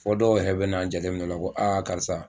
Fɔ dɔw yɛrɛ bɛna a jateminɛ o la karisa